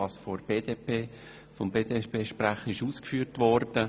Das betrifft die Ausführungen des BDPSprechers.